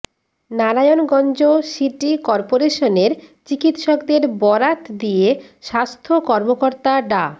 Narayanganj city করপোরেশনের চিকিৎসকদের বরাত দিয়ে স্বাস্থ্য কর্মকর্তা ডা